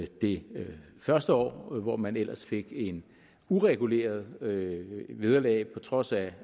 det første år hvor man ellers fik et ureguleret vederlag vederlag på trods af